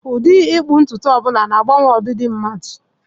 Ụdị ịkpụ ntutu ọ bụla na-agbanwe ọdịdị mmadu.